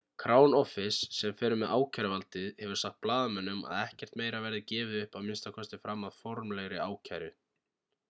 crown office sem fer með ákæruvaldið hefur sagt blaðamönnum að ekkert meira verði gefið upp að minnsta kosti fram að formlegri ákæru